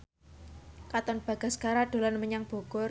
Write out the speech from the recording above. Katon Bagaskara dolan menyang Bogor